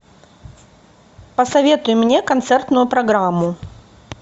посоветуй мне концертную программу